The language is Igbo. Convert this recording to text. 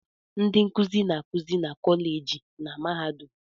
Ndị nkuzi na-akụzi na kọleji na mahadum.